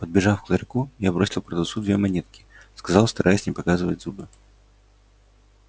подбежав к ларьку я бросил продавцу две монетки сказал стараясь не показывать зубы